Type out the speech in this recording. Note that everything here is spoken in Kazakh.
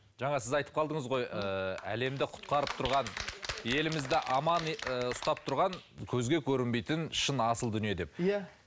жаңа сіз айтып қалдыңыз ғой ы әлемді құтқарып тұрған елімізді аман і ұстап тұрған көзге көрінбейтін шын асыл дүние деп иә